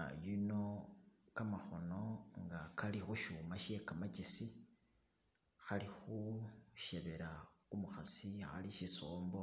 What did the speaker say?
Ah yuno kamakhono nga kali khu syuma she kamakesi khali khushebela umukhasi ali shisombo